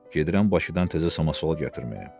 gedirəm Bakıdan təzə samasval gətirməyə.